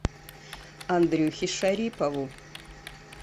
андрюхе шарипову